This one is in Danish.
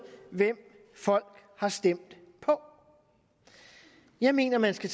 hvem folk har stemt på jeg mener man skal